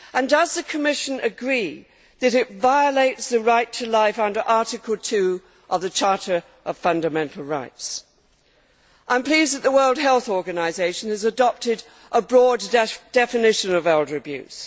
Does the Commission agree that it violates the right to life under Article 2 of the Charter of Fundamental Rights? I am pleased that the World Health Organisation has adopted a broad definition of elder abuse.